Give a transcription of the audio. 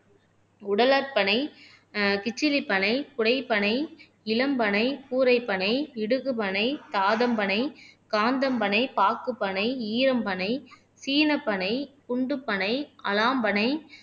உடலட்பனை ஆஹ் கிச்சிலிப் பனை குடைப்பனை இளம் பனை கூரைப் பனை இடுகு பனை தாதம் பனை காந்தம் பனை பாக்குப்பனை ஈரம் பனை சீனப் பனை குண்டுப் பனை அலாம் பனை